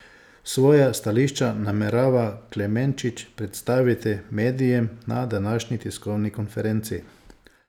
Svoja stališča namerava Klemenčič predstaviti medijem na današnji tiskovni konferenci.